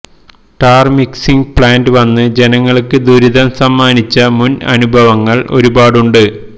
tar mixing plant വന്ന് ജനങ്ങൾക്ക് ദുരിതം സമ്മാനിച്ച മുൻ അനുഭവങ്ങൾ ഒരു പാടുണ്ട്